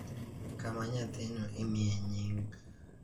kama nyathino imiye nying.